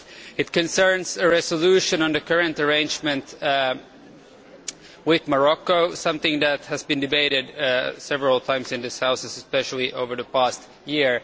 It concerns a resolution on the current arrangement with Morocco, something that has been debated several times in this House especially over the past year.